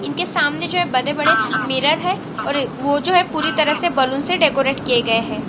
इनके सामने जो है बड़े बड़े मिरर है और वो जो है पूरी तरह से बैलून से डेकोरेटे किए गए हैं।